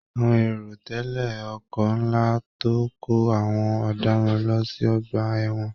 Àwọn èrò tẹle ọkọ nlá tó n kò àwọn ọdaràn lọ sí ọgbà ẹwọn.